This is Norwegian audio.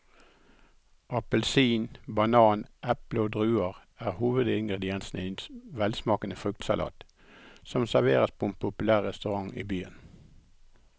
Appelsin, banan, eple og druer er hovedingredienser i en velsmakende fruktsalat som serveres på en populær restaurant i byen.